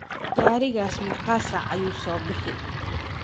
Garigas megaa saac ayu sobixi?